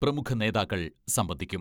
പ്രമുഖ നേതാക്കൾ സംബന്ധിക്കും.